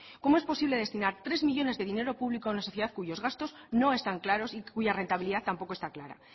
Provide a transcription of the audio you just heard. cómo es posible destinar tres millónes de dinero público en una sociedad cuyos gastos no están claros y cuya rentabilidad tampoco está clara